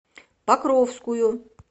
покровскую